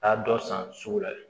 Taa dɔ san sugu la